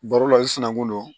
Baro la i sinankun don